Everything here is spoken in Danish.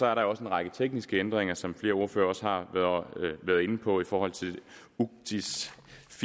er der også en række tekniske ændringer som flere ordførere også har været inde på i forhold til ucits